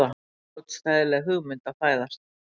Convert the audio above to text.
Ómótstæðileg hugmynd að fæðast.